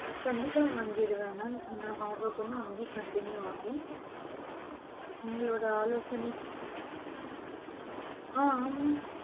கண்டிப்பா வாங்கிருவன் mam என்னோட hardwork வந்து continue ஆகும் உங்களோட ஆலோசனை ஆஹ் ஆமா